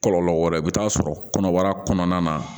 Kɔlɔlɔ wɛrɛ i bɛ taa sɔrɔ kɔnɔbara kɔnɔna na